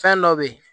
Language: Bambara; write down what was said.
Fɛn dɔ be ye